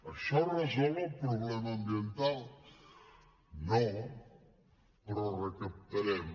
això resol el problema ambiental no però recaptarem